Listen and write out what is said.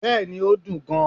bẹẹni, o dún gán